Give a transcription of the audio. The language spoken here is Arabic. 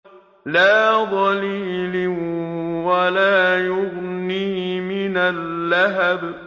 لَّا ظَلِيلٍ وَلَا يُغْنِي مِنَ اللَّهَبِ